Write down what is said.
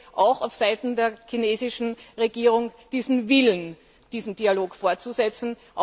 Ich sehe auch auf Seiten der chinesischen Regierung den Willen, diesen Dialog fortzusetzen.